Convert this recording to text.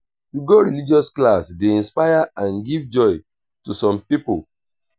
to go religious class de inspire and give joy to some pipo